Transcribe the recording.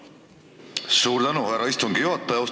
Suur tänu, härra istungi juhataja!